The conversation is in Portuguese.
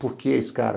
Por que escara?